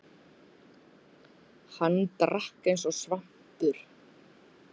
Hann drakk eins og svampur.